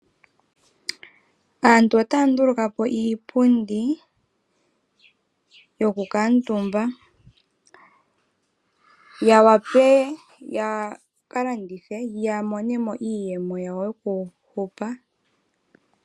Aantu otaya nduluka po iipundi yokukala omutumba yawape yakalandithe yamonemo iiyemo yawo yokuhupa.